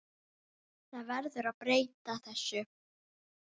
Það verður að breyta þessu.